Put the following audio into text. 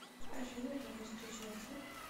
афина давай встречаться